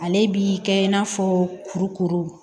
Ale bi kɛ i n'a fɔ kurukuru